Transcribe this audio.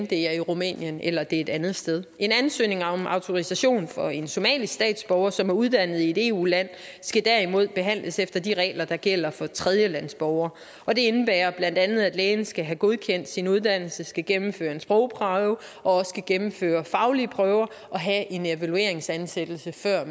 det er i rumænien eller et andet sted en ansøgning om autorisation for en somalisk statsborger som er uddannet i et eu land skal derimod behandles efter de regler der gælder for tredjelandsborgere og det indebærer bla at lægen skal have godkendt sin uddannelse skal gennemføre en sprogprøve og også skal gennemføre faglige prøver og have en evalueringsansættelse før